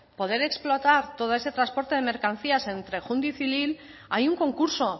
poder explotar todo ese transporte de mercancías entre júndiz y lille hay un concurso